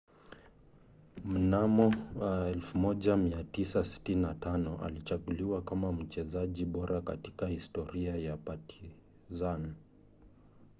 mnamo 1995 alichaguliwa kama mchezaji bora katika historia ya partizan